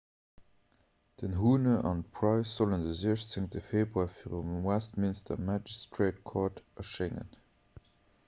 den huhne an d'pryce sollen de 16 februar virum westminster magistrate court erschéngen